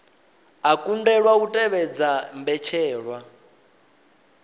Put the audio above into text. a kundelwa u tevhedza mbetshelwa